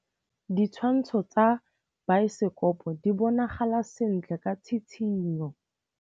Ditshwantshô tsa biosekopo di bonagala sentle ka tshitshinyô.